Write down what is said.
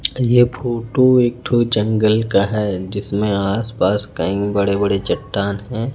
यह फोटो एक ठो जंगल का है जिसमें आसपास कई बड़े बड़े चट्टान हैं।